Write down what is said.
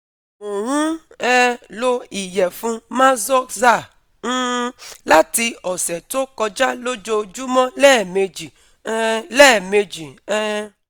Mo n um lo iyefun Maxoza um lati ọsẹ to koja lojoojumọ lẹmeji um lẹmeji um